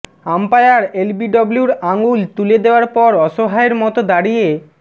umpire এলবিডব্লুর আঙুল তুলে দেওয়ার পর অসহায়ের মতো দাঁড়িয়ে